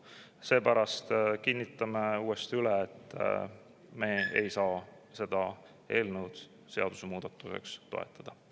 Seepärast kinnitame uuesti üle, et me ei saa seda seadusemuudatuse eelnõu toetada.